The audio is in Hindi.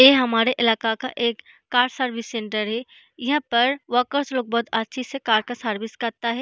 ये हमारे इलाका का एक कार सर्विस सेंटर है यहाँ पर वर्कर्स लोग बहुत अच्छे से कार का सर्विस करता है।